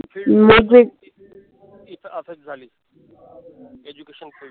ती तर असच झाली. education field